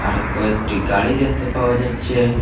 আর কয়েকটি গাড়ি দেখতে পাওয়া যাচ্ছে।